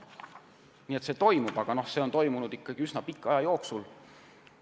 Nii et taastumine toimub, aga see toimub ikkagi üsna pika aja jooksul.